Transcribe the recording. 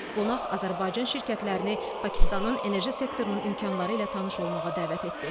Qonaq Azərbaycan şirkətlərini Pakistanın enerji sektorunun imkanları ilə tanış olmağa dəvət etdi.